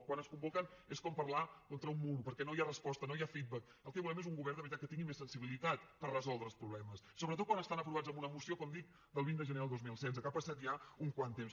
quan es convoquen és com parlar amb un mur perquè no hi ha resposta no hi ha feedbackgovern de veritat que tingui més sensibilitat per resoldre els problemes sobretot quan estan aprovats en una moció com dic del vint de gener del dos mil setze que ha passat ja una mica de temps